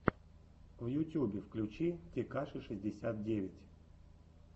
на ютьюбе включи текаши шестьдесят девять